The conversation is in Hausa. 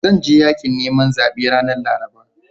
Zan je yaƙin neman zaɓe ranar Laraba.